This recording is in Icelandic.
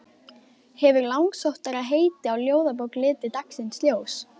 Hefur langsóttara heiti á ljóðabók litið dagsins ljós?